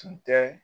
Tun tɛ